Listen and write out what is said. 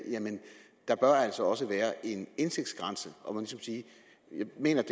der altså også bør være en indtægtsgrænse jeg mener